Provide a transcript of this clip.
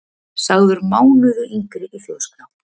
Sagður mánuði yngri í Þjóðskrá